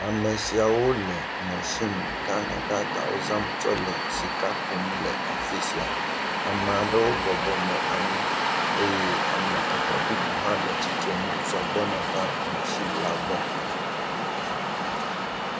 Ame siawo le mɔsini gãgãgãgawo zam tsɔ le sika kum le afi sia. Ame aɖewo bɔbɔ nɔ anyi eye ame eve bubu hã le tsitre nu zɔ gbɔna va mɔsini la gbɔ.